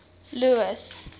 louis